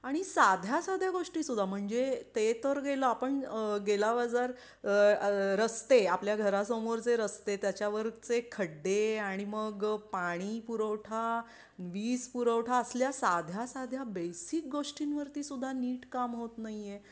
आणि साध्या साध्या गोष्टी सुद्धा म्हणजे ते तर गेला पण गेला बाजार रस्ते आपल्या घरासमोर जे रस्ते त्यावरचे खड्डे आणि मग पाणीपुरवठा वीजपुरवठा असल्या